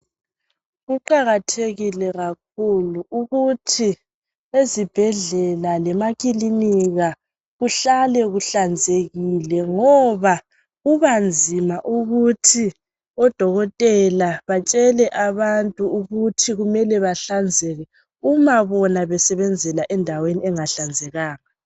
Kuqakathekile kakhulu ukuthi ezibhedlela lemakiliniki kuhlale kuhlanzekile ngoba kubanzima ukuthi odokotela ukuthi batshele abantu ukuthi bahlanzeke uma bona besebenzela endaweni engahlanzekanga.